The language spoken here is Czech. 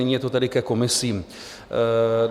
Nyní je to tedy ke komisím.